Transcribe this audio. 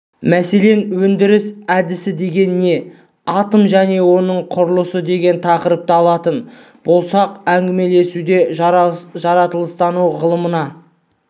мәселен өндіріс әдісі деген не атом және оның құрылысы деген тақырыпты алатын болсақ әңгімелесуде жаратылыстану ғылымына